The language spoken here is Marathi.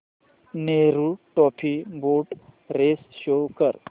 Nehru trophy boat race show कर